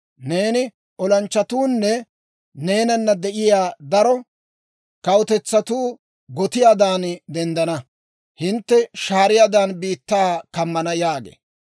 Neeni, ne olanchchatuunne neenana de'iyaa daro kawutetsatuu gotiyaadan denddana; hintte shaariyaadan, biittaa kammana› » yaagee.